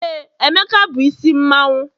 ee, emeka bu isi mmanwu